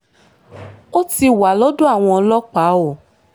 ó ti wà lọ́dọ̀ àwọn ọlọ́pàá o